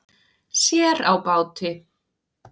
Sér á báti.